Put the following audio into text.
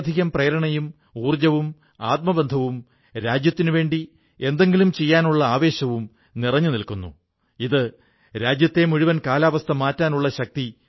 അദ്ദേഹം മെക്സിക്കോയിലെ ഒഹാകയിൽ ഗ്രാമീണരെ ഖാദിയുമായി ബന്ധപ്പെട്ട ജോലികൾ പഠിപ്പിച്ചു അവർക്ക് പരിശീലനം നല്കി ഇന്ന് ഒഹാക ഖാദി ഒരു ബ്രാൻഡ് ആയിരിക്കുന്നു